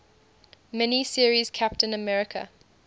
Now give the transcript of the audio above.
mini series captain america